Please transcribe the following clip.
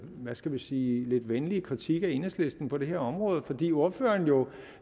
skal vi sige lidt venlige kritik af enhedslisten på det her område fordi ordføreren jo